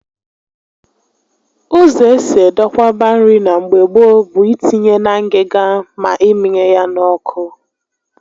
Ụzọ esi edokwaba nri na mgbe gboo bụ itinye na ngịga ma ịmịnye ya n'ọkụ